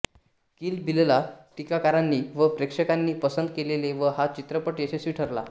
किल बिलला टीकाकारांनी व प्रेक्षकांनी पसंद केले व हा चित्रपट यशस्वी ठरला